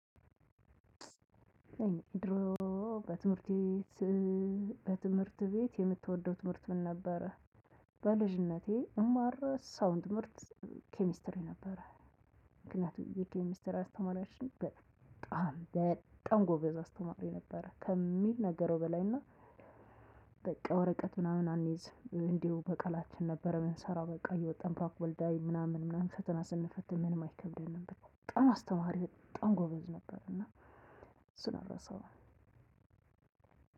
እኔ ድሮ በትምህርት ቤት በትምህርት ቤት የምትወደው ትምህርት ምን? ነበረ በልጅነቴ እማርሳውን ትምህርት ኬሚስትሪ ነበረ። ምክንያቱም የኬሚስተር አስተማሪያችን በጣም በጣም ጎበዝ አስተማሪ ነበረ ከሚነገረው በላይ እና። ወረቀት ምናምን አንይዝ እንዲሁ በቃላችን ነበረ የምንሰራው በቃ እየወጣን ወልዳይ ምናምን ምናምን ሰተና ስንፈት ምንም አይከብደንም በጣም አስተማሪ በጣም ጎበዝ ነበር እና። ስነረሳው